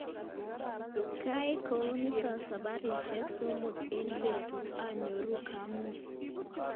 Ngaai kounitok sabarishek somok eng betut anyoru kamung.